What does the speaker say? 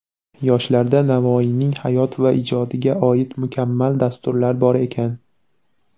Yoshlarda Navoiyning hayot va ijodiga oid mukammal dasturlar bor ekan).